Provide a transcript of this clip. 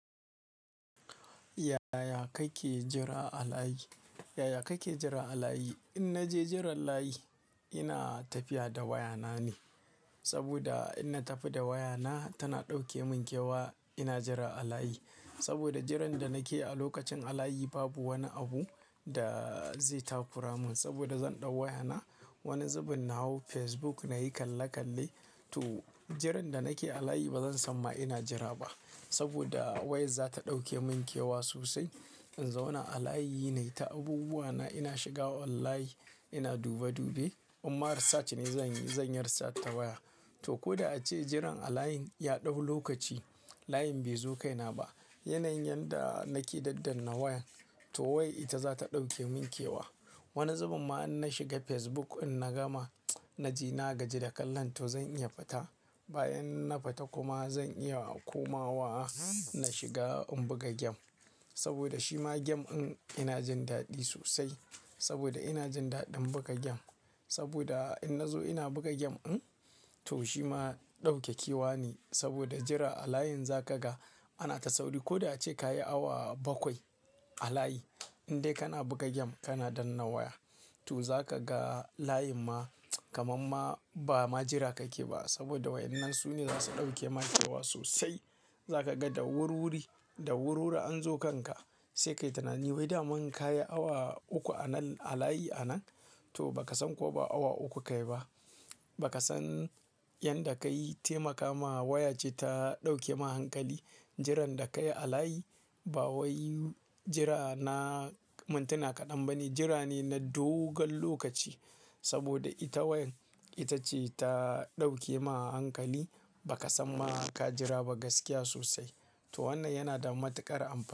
Yaya kake jira a layi? Yaya kake jira a layi? In naje jiran layi, ina tafiya da waya na ne. Saboda in na tafi da waya na tana ɗauke min kewa ina jira a layi. Saboda jiran da nake a lokacin a layi babu wani abu da zai takura mun. Saboda zan ɗau waya na wani zubin nahu Facebook nayi kalle kalle to jiran da nake a layi ba zan san ma ina jira ba. Saboda wayar za ta ɗauke mun kewa sosai. In zauna a layi na yi ta abubuwa na ina shiga online ina dube dube. Imma research ne zanyi zan research ta waya. To koda ace jiran a layin ya ɗau lokaci, layin bai zo kai na ba. Yanayin da nake daddan na wayan to wai ita za ta ɗauke mun kewa. Wani zubin ma in na shiga Facebook in na gama na ji na gaji da kalla to zan iya fita. Bayan na fita kuma zan iya komawa na shiga in buga game. Saboda shi ma game in ina jin daɗi sosai. Saboda ina jin daɗin buga game. Saboda in na zo ina buga game din to shi ma ɗauke kewa ne. Saboda jira a layin za kaga ana ta sauri ko da ace kayi awa bakwai a layi. In dai kana buga game kana danna waya to za ka ga layin ma kamar ma ba ma jira kake ba. Saboda wayannan su ne za su ɗauke maka kewa sosai. Za ka ga da wurwuri, da wurwuri an zo kanka. Sai ka yi tunani wai da mun kayi awa uku a nan a layi a nan to ba ka san ko ba awa uku kayi ba. Ba ka san yan da ka yi taimaka ma waya ce ta ɗauke ma hankali. Jiran da kayi a layi ba wai jira na mintuna kaɗan ba ne jira ne na dogon lokaci. Saboda ita wayan ita ce ta ɗauke ma hankali ba ka san ma ka jira ba gaskiya sosai. To wannan yana da matuƙar amafani.